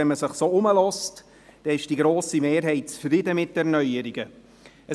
Wenn man sich umhört, ist die grosse Mehrheit mit den Neuerungen zufrieden.